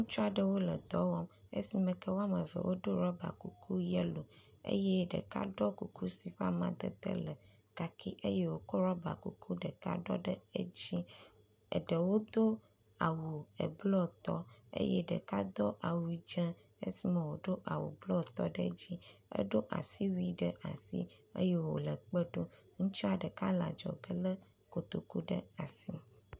Ŋutsu aɖewo le dɔ wɔm esi me ke wo ame eve wodo ɖɔba kuku yelo eye ɖeka ɖɔ kuku si ƒe amadede le kaki eye wokɔ ɖɔba kuku ɖeka ɖɔ ɖe edzi. Eɖewo do awu eblɔ tɔ eye ɖeka do awu dze esime ablɔ tɔ ɖe edzi eɖo asiwui ɖe asi eye wo le kpe ɖom. Ŋutsua ɖeka le adzɔge le kotokua ɖe asi.